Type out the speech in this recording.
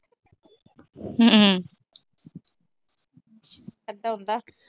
ਇਦਾ ਹੁੰਦਾ।